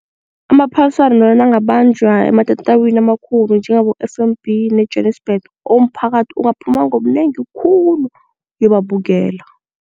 Amaphaliswano nangabanjwa ematatawini amakhulu njengabo-F_N_B neJwanisbhege umphakathi ungaphuma ngobunengi khulu uyobabukela.